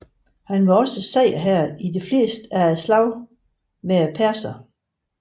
Han var også sejrherre i de fleste af slagene med perserne